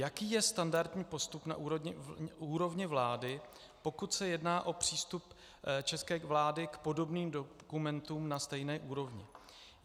Jaký je standardní postup na úrovni vlády, pokud se jedná o přístup české vlády k podobným dokumentům na stejné úrovni?